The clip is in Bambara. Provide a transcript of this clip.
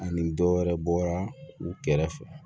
Ani dɔ wɛrɛ bɔra u kɛrɛfɛ